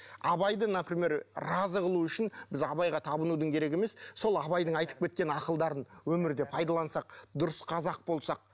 абайды например разы қылу үшін біз абайға табынудың керегі емес сол абайдың айтып кеткен ақылдарын өмірде пайдалансақ дұрыс қазақ болсақ